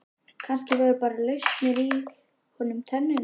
Kannski voru bara lausar í honum tennurnar.